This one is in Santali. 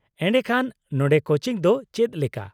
-ᱮᱰᱮᱠᱷᱟᱱ ᱱᱚᱰᱮ ᱠᱳᱪᱤᱝ ᱫᱚ ᱪᱮᱫ ᱞᱮᱠᱟ ?